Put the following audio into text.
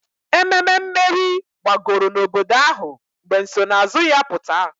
Ememe mmeri gbagoro n'obodo ahụ mgbe nsonaazụ ya pụta